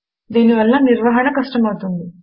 దీని వలన నిర్వహణ కష్టమవుతుంది